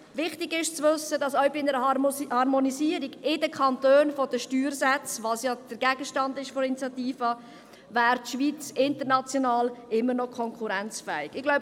Wichtig zu wissen ist, dass auch bei einer Harmonisierung der Steuersätze in den Kantonen, was ja Gegenstand der Initiative ist, die Schweiz international immer noch konkurrenzfähig wäre.